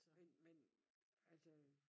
Men men altså øh